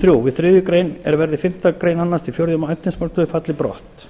þriðja við þriðju grein er verði fimmtu grein annars til fjórða efnismálsliður falli brott